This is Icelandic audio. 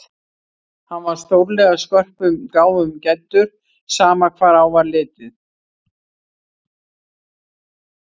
Hann var stórlega skörpum gáfum gæddur, sama hvar á var litið.